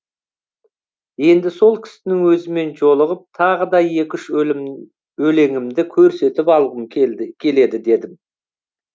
енді сол кісінің өзімен жолығып тағы да екі үш өлеңімді көрсетіп алғым келді келеді дедім